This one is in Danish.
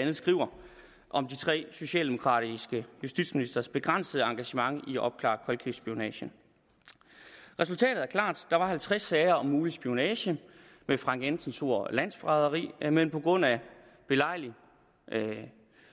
andet skriver om de tre socialdemokratiske justitsministres begrænsede engagement i at opklare koldkrigsspionage resultatet er klart der var halvtreds sager om mulig spionage med frank jensens ord landsforræderi men på grund af belejlig